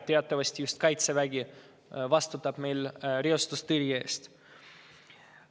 Teatavasti just Kaitsevägi vastutab meil reostustõrje eest.